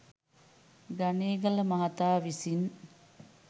ගනේගල මහතා විසින්